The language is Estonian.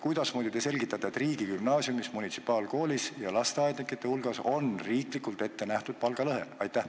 Kuidasmoodi te selgitate, et riigigümnaasiumis, munitsipaalkoolis ja lasteaednike hulgas on riiklikult ette nähtud palgalõhe?